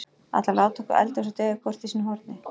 Ætlarðu að láta okkur eldast og deyja hvort í sínu horni?